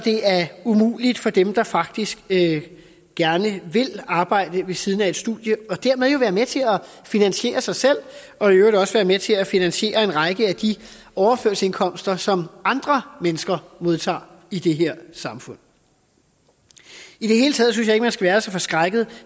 umuligt for dem der faktisk gerne vil arbejde ved siden af et studie og dermed være med til at finansiere sig selv og i øvrigt også være med til at finansiere en række af de overførselsindkomster som andre mennesker modtager i det her samfund i det hele taget synes jeg ikke man skal være så forskrækket